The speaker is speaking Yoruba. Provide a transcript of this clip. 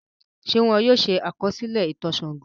Ṣé wọ́n yóò ṣe àkọsílẹ̀ ìtàn Ṣàngó?